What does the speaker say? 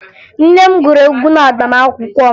Nne m gụrụ egwu n'agbamaakwụkwọ m